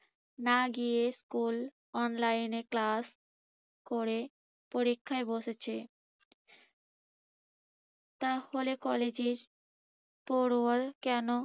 না গিয়ে school online এ class করে পরীক্ষায় বসেছে। তার ফলে কলেজের কেন